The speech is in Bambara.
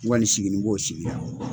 N kɔni sigini b'o sigira.